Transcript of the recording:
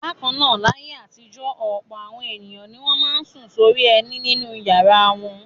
Bákan náà, láyé àtijọ́ ọ̀pọ̀ àwọn ènìyàn ni wọ́n máa ń sùn sórí ẹní nínú ìyàrá wọn.